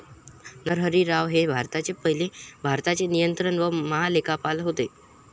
नरहरी राव हे भारताचे पहिले भारताचे नियंत्रक व महालेखापाल होते.